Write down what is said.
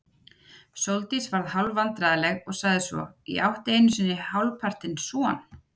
Sóldís varð hálfvandræðaleg og sagði svo: Ég átti einu sinni hálfpartinn son.